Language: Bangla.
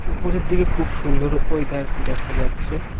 উপরের দিকে খুব সুন্দর ওয়েদার দেখা যাচ্ছে।